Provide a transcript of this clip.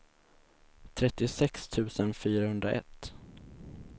trettiosex tusen fyrahundraett